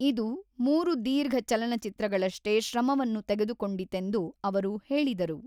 ಇದು ಮೂರು ದೀರ್ಘ ಚಲನಚಿತ್ರಗಳಷ್ಟೇ ಶ್ರಮವನ್ನು ತೆಗೆದುಕೊಂಡಿತೆಂದು ಅವರು ಹೇಳಿದರು.